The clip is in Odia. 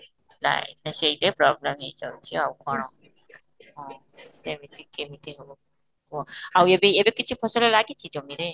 ନାଇଁ ନାଇଁ ସେଇଟା ପ୍ରୋବ୍ଲେମ ହେଇ ଯାଉଛି ଆଉ କଣ ହଁ ସେମିତି କେମିତି ହେବ କୁହ ଆଉ ଏବେ ଏବେ କିଛି ଫସଲ ଲାଗିଛି ଜମିରେ?